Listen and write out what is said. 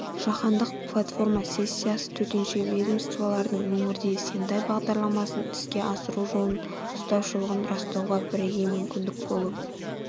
жаһандық платформа сессиясы төтенше ведомстволардың өңірде сендай бағдарламасын іске асыру жолын ұстаушылығын растауға бірегей мүмкіндік болып